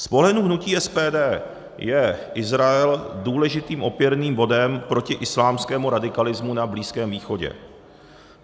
Z pohledu hnutí SPD je Izrael důležitým opěrným bodem proti islámskému radikalismu na Blízkém východě.